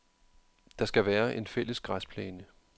Der skal være en fælles græsplæne.